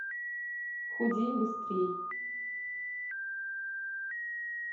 худей быстрей